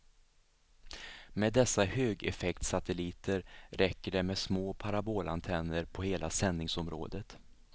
Med dessa högeffektsatelliter räcker det med små parabolantenner på hela sändningsområdet.